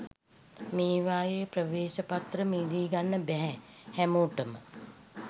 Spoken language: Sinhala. මේවායේ ප්‍රවේශපත්‍ර මිලදී ගන්න බැහැ හැමෝටම